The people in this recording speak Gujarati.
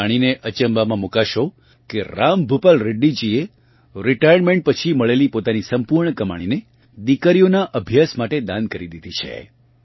તમે જાણીને અચંબામાં મૂકાશો કે રામભૂપાલ રેડ્ડીજીએ રિટાયરમેન્ટ પછી મળેલી પોતાની સંપૂર્ણ કમાણીને દિકરીઓના અભ્યાસ માટે દાન કરી દીધી છે